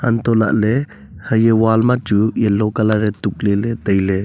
auntoh lahley haya wall machu yellow colour e tuk leley tailey.